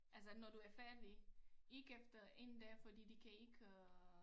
Altså når du er færdig ikke efter én dag for de kan ikke øh